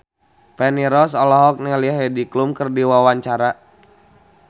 Feni Rose olohok ningali Heidi Klum keur diwawancara